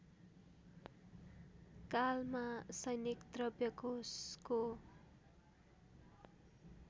कालमा सैनिक द्रव्यकोषको